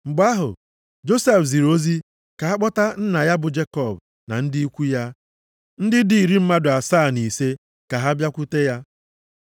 Mgbe ahụ, Josef ziri ozi ka a kpọta nna ya bụ Jekọb na ndị ikwu ya, ndị dị iri mmadụ asaa na ise ka ha bịakwute ya.